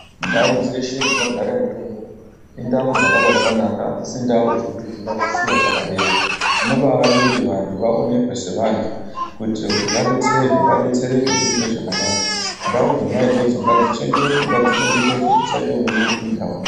Ndau dzeshe dzinogara mutombo indau dzakaba dzanaka hadzisi ndau dzokuti tingadzisiya dzakadaro tinombaada kuti vantu aonekwe sevantu kuitire kuti vadetserwe vadetsereke zviite zvakanaka ndau dzona idzodzo ngadzichengetedzwe ngadzichengetedzwe kusamboite unombopindamo